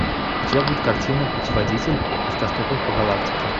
у тебя будет картина путеводитель автостопом по галактике